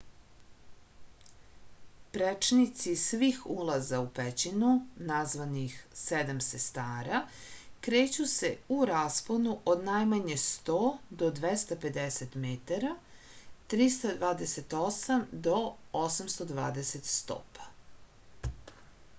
пречници свих улаза у пећину названих седам сестара” крећу се у распону од најмање 100 до 250 метара 328 до 820 стопа